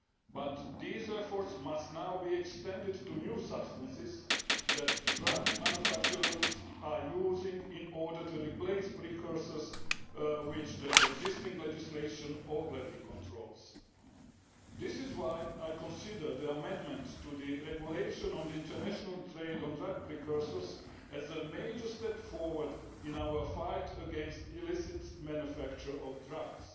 But these efforts must now be extended to new substances that drug manufacturers are using in order to replace precursors which the existing legislation already controls. This is why I consider the amendment to the regulation on the international trade in drug precursors as a major step forward in our fight against the illicit manufacture of drugs.